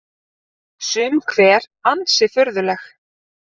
Sum hver ansi furðuleg